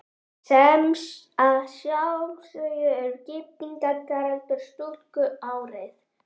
Sem að sjálfsögðu er giftingaraldur stúlku árið